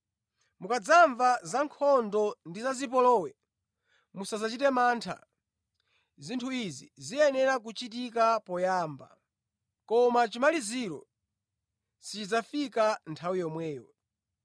Mukadzamva zankhondo ndi zipolowe, musadzachite mantha. Zinthu izi ziyenera kuchitika poyamba, koma chimaliziro sichidzafika nthawi yomweyo.”